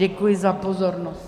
Děkuji za pozornost.